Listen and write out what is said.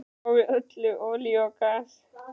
Svipað á við um olíu og gas.